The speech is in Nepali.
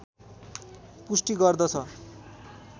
पुष्टि गर्दछ